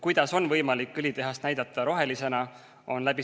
Kuidas on võimalik õlitehast näidata rohelisena?